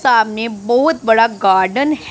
सामने बहोत बड़ा गार्डन --